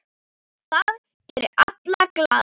Það gerir alla glaða.